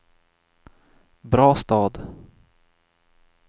Brastad